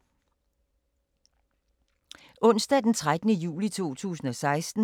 Onsdag d. 13. juli 2016